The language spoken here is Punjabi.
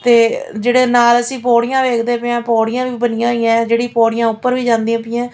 ਤੇ ਜਿਹੜਾ ਨਾਲ ਅਸੀਂ ਪੌੜੀਆਂ ਵੇਖਦੇ ਪਏ ਆ ਪੌੜੀਆਂ ਵੀ ਬਣੀਆਂ ਹੋਈਆਂ ਜਿਹੜੀਆਂ ਪੌੜੀਆਂ ਉੱਪਰ ਵੀ ਜਾਂਦੀਆਂ ਪਈਆਂ।